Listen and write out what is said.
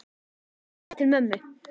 Ég er að fara til mömmu.